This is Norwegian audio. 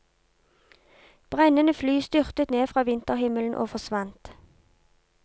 Brennende fly styrtet ned fra vinterhimmelen og forsvant.